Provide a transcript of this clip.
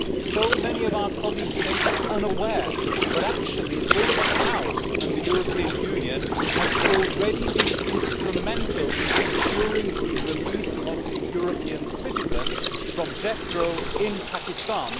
So many of our colleagues may be unaware, but actually this House and the European Union have already been instrumental in securing the release of a European citizen from death row in Pakistan.